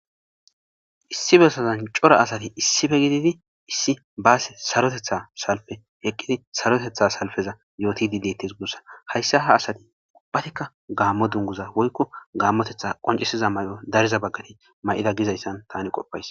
Issi bessazan cora asati issippe gididi issi baassi saaroteththa salppe eqqidi saaroteththa salfeza yootidi deetes guussa hayssa ha asati uubbatikka gaammo dunguza woykko gaammotetha qonccisiza may'o dariza baggati ma'ida gizayssan tani qoppays